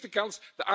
Een gemiste kans!